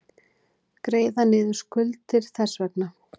Greiða niður skuldir þess vegna.